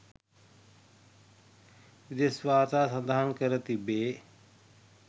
විදෙස් වාර්තා සඳහන් කර තිබේ